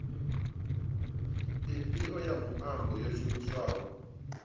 ifhio ya muambo yo shumiswaho